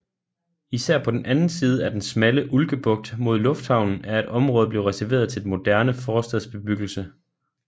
Især på den anden side af den smalle Ulkebugt mod lufthavnen er et område blevet reserveret til moderne forstadsbebyggelse